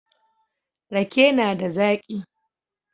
Rake na da zaki